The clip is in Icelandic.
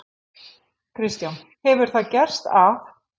Kristján: Hefur það gerst að?